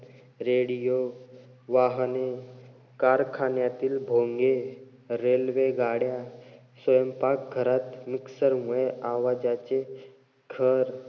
Radio, वाहने, कारखान्यातील भोंगे, railway गाड्या, स्वयंपाक घरात mixer मुळे आवाजाचे, घर,